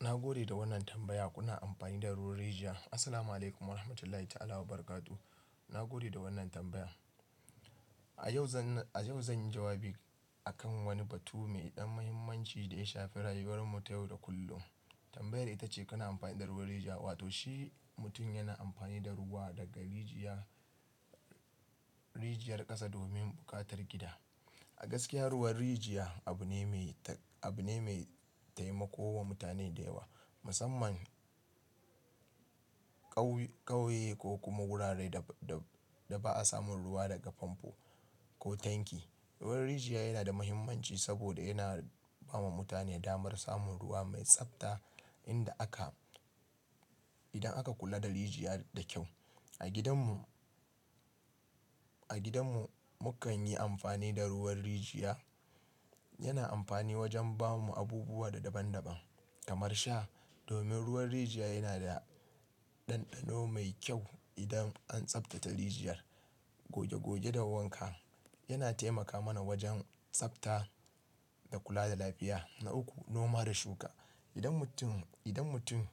Na gode da wannan tambaya. Kuna amfani da ruwan rijiya? Assalamu'alaikum warahmatullahi ta'ala wa barakatu. Na gode da wannan tambaya. A yau zan, a yau zan yi jawabi akan wani batu mai ɗan muhimmanci da ya shafi rayuwar mu ta yau da kullum. Tambayar ita ce kana amfani da ruwan rijiya, wato shi mutum yana amfani da ruwa daga rijiya, rijiyar ƙasa domin buƙatar gida. A gaskiya ruwan rijiya abu ne mai, abu ne mai taimako wa mutane da yawa, musamman ƙauye ko kuma wuraren da, da ba a samun ruwa daga famfo ko tanki. Ruwan rijiya yana da muhimmanci saboda yana ba ma mutane damar samun ruwa mai tsabta inda aka, idan aka kula da rijiya da kyau. A gidan mu, a gidan mu, mu kan yi amfani da ruwan rijiya. Yana amfani wajen ba mu abubuwa da daban-daban kamar sha. Domin ruwan rijiya yana da ɗanɗano mai kyau idan an tsabtace rijiyar. Goge goge da wanka. Yana taimaka mana wajen tsabta da kula da lafiya. Na uku, noma da shuka. Idan mutum, idan mutum,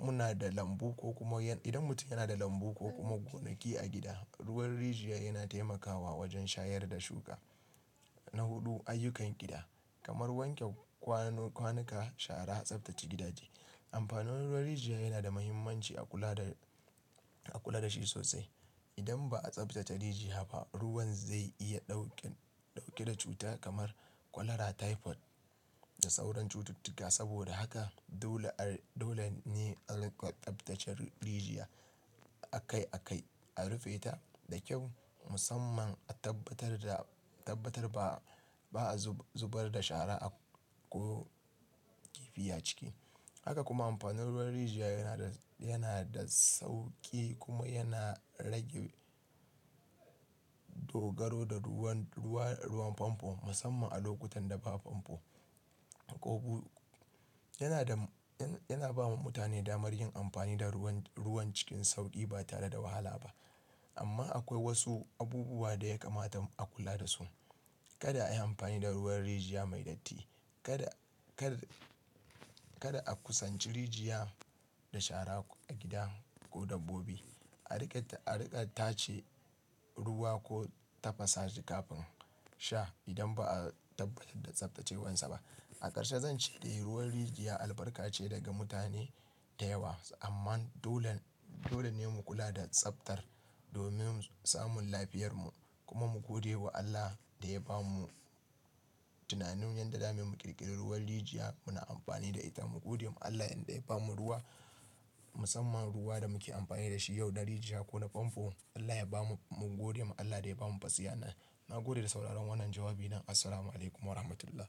muna da lambu ko kuma idan mutum yana da lambu ko kuma gonaki a gida, ruwan rijiya yana taimakawa wajen shayar da shuka. Na huɗu, ayyukan gida kamar wanke kwanuka, shara, tsabtace gidaje. Amfanin ruwan rijiya yana da muhimmanci a kula da, a kula da shi sosai. Idan ba a tsabtace rijiya ba, ruwan zai iya ɗauke, ɗauke da cuta kamar kwalara typhoid da sauran cututtuka. Saboda haka dole, dole ne a riƙa tsabtace rijiya a kai a kai, a rufe ta da kyau musamman a tabbatar da, tabbatar ba, ba'a zubar da shara a ko kifi a ciki. Haka kuma amfanin ruwan rijiya yana da, yana da sauƙi kuma yana rage. Dogaro da ruwan, ruwa, ruwan famfo musamman a lokutan da ba famfo ko bu, yana da, yana ba wa mutane damar yin amfani da ruwan, ruwan cikin sauƙi ba tare da wahala ba. Amma akwai wasu abubuwa da ya kamata a kula da su. Kada a yi amfani da ruwan rijiya mai datti. Kada, kar, kada a kusanci rijiya da shara a gida ko dabbobi. A riƙe ta, a riƙa tace ruwa ko tafasa shi kafin sha idan ba'a tabbatar da tsabtacewarsa ba. A ƙarshe zan ce dai ruwan rijiya albarka ce daga mutane da yawa. Amman dole, dole ne mu kula da tsabtar domin samun lafiyarmu, kuma mu gode wa Allah da ya ba mu tunanin yadda za mu yi mu ƙirƙiri ruwan rijiya muna amfani da ita. Mu gode ma Allah yanda ya ba mu ruwa musamman ruwa da muke amfani da shi yau na rijiya ko na famfo. Allah ya ba mu, mu gode ma Allah da ya ba mu basirar nan. Na gode da sauraron wannan jawabi na. Assalamu'alaikum warahmatullah.